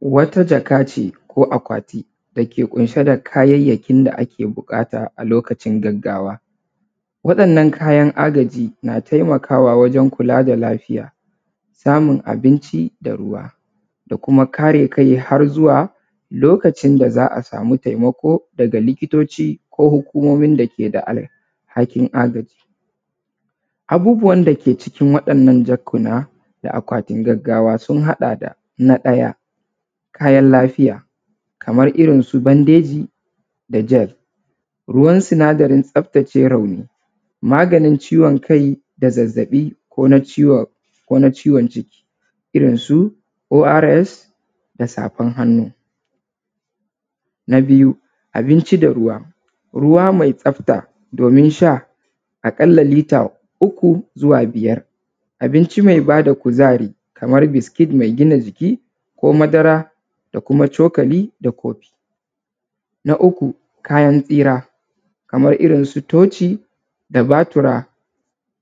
wata jakane ko akwati dake kunshe da kayayakin agajin gaggawa wa’yannan kayan suna taimakawa wajen samun abinci me da ruwa dama kuma kare kai harkuma lokacin da za a sami taimako daga likitoci da hukumomin agaji da ke da alhakin haka. Abubuwan da ke ckin wa’yannan jakuna da akwatin gaggawa sun haɗa da: na ɗaya kayan lafiya kaman irin su bandeji, jel, ruwan sinadarin tsaftace rauni, maganin ciwon kai, zazzaɓi ko na ciwon jiki irinsu ors da safan hannu. Na biyu, abinci da ruwa, ruwa mai tsafta abin sha aƙalla mita shida zuwa biyar, abinci me ba da kuzari kamar biskit, me gina jiki ko madara da kuma cokali. Na uku, kayan tsira kaman irin su toci, batira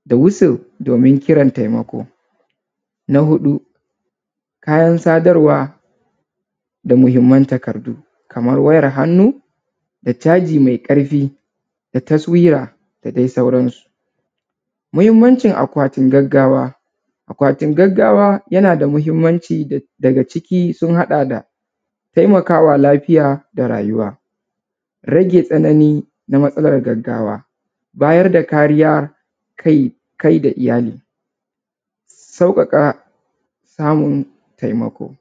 da wusir domin kiran taimako, na huɗu kayan sadarwa da muhinmanci takardu kamar wayan hannu da batir me ƙarfi da taswiya da dai sauransu. Muhinmancin akwatin gaggawa, akwatin gaggawa yana da muhinmanci daga ciki sun haɗa da: taimakawa mara lafiya da rayuwa, rage tsanani na matsalan gaggawa, bayar da kariya kai da tinani, sauƙaƙa samun tinani.